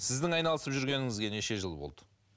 сіздің айналысып жүргеніңізге неше жыл болды